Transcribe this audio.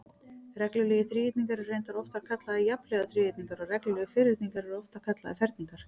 Reglulegir þríhyrningar eru reyndar oftar kallaðir jafnhliða þríhyrningar og reglulegir ferhyrningar eru oftar kallaðir ferningar.